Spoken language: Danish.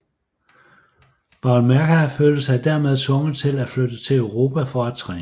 Boulmerka følte sig dermed tvunget til at flytte til Europa for at træne